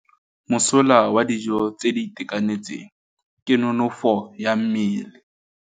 Mosola wa dijô tse di itekanetseng ke nonôfô ya mmele.